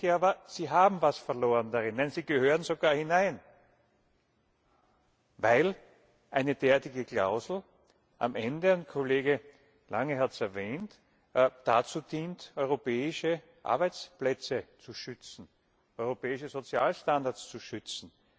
Ich denke aber, sie haben darin was verloren, sie gehören sogar hinein, weil eine derartige Klausel am Ende Kollege Lange hat es erwähnt dazu dient, europäische Arbeitsplätze zu schützen, europäische Sozialstandards zu schützen.